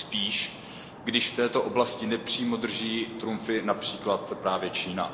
Tím spíš, když v této oblasti nepřímo drží trumfy například právě Čína.